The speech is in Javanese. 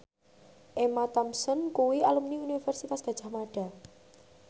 Emma Thompson kuwi alumni Universitas Gadjah Mada